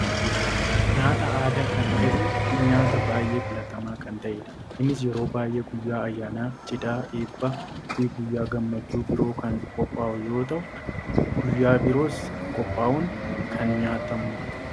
Nyaataa aadaa kan ta'ee fi nyaata baayyee filatamaa kan ta'edha. Innis yeroo baayyee guyyaa ayyaanaa, cidhaa, eebbaa fi guyyaa gammachuu biroo kan qophaa'u yoo ta'u guyyaa biroos qophaa'uun kan nyaatamudha.